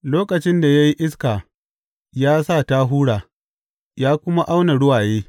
Lokacin da ya yi iska ya sa ta hura, ya kuma auna ruwaye.